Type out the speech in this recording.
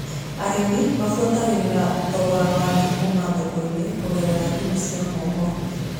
Arĩmi mabuatagĩrĩra thogoro wa thũkũma thoko-inĩ kũgerera thimu cia moko.